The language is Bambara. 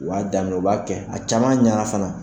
U y'a daminɛ u b'a kɛ, a caman ɲana fana